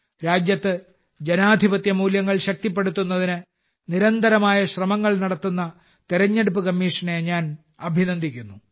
രാജ്യത്ത് ജനാധിപത്യമൂല്യങ്ങൾ ശക്തിപ്പെടുത്തുന്നതിന് നിരന്തരമായ ശ്രമങ്ങൾ നടത്തുന്ന തിരഞ്ഞെടുപ്പ് കമ്മീഷനെ ഞാൻ അഭിനന്ദിക്കാൻ ആഗ്രഹിക്കുന്നു